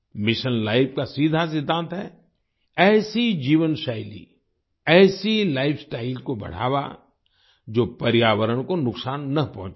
mission life का सीधा सिद्धांत है ऐसी जीवनशैली ऐसी लाइफस्टाइल को बढ़ावा जो पर्यावरण को नुकसान ना पहुंचाए